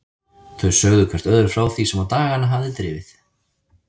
Þau sögðu hvert öðru frá því sem á dagana hafði drifið.